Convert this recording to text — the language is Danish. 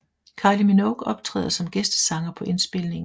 Kylie Minogue optræder som gæstesanger på indspilningen